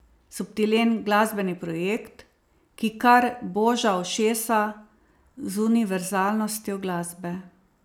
Subtilen glasbeni projekt, ki kar boža ušesa z univerzalnostjo glasbe.